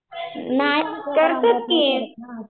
नाही करतात की